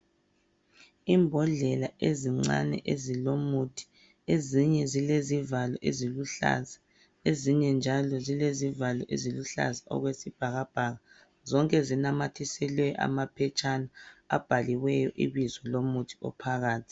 Imbodlela ezincane ezilomuthi. Ezinye zilezivalo eziluhlaza ezinye njalo zile zivalo eziluhlaza okwesibhakabhaka. Zonke zinamathiselwe amaphetshana abhaliweyo ibizo lomuthi ophakathi.